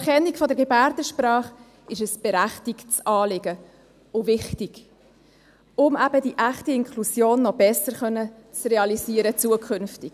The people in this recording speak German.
Die Anerkennung der Gebärdensprache ist ein berechtigtes Anliegen und wichtig, um eben die echte Inklusion zukünftig noch besser realisieren zu können.